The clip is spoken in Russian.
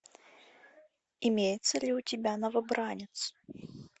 имеется ли у тебя новобранец